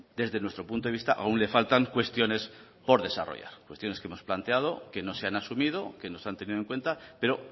desde nuestro punto de vista aún le faltan cuestiones por desarrollar cuestiones que hemos planteado que no se han asumido que no se han tenido en cuenta pero